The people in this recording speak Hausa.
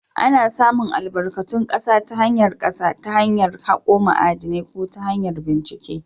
Ana samun albarkatun ƙasa ta hanyar ƙasa ta hanyar hako ma'adinai ko ta hanyar bincike.